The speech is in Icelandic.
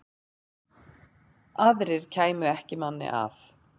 Aðrir kæmu ekki manni að.